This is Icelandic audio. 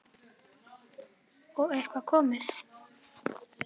Brynja: Og einhver komið?